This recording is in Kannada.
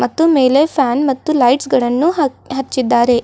ಮತ್ತು ಮೇಲೆ ಫ್ಯಾನ್ ಮತ್ತು ಲೈಟ್ಸ್ ಗಳನ್ನು ಹ ಹಚ್ಚಿದ್ದಾರೆ.